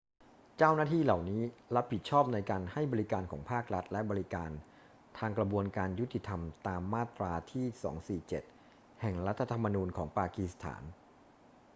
เจ้าหน้าที่เหล่านี้รับผิดชอบในการให้บริการของภาครัฐและบริการทางกระบวนการยุติธรรมตามมาตราที่ 247 แห่งรัฐธรรมนูญของปากีสถาน